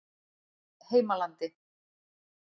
Heimalandi